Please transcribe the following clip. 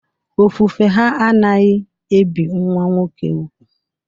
Ofufe ha anaghị ebi nwa nwoke úgwù